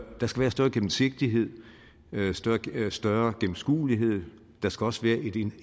der skal være større gennemsigtighed større gennemskuelighed der skal også være